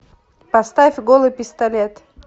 поставь голый пистолет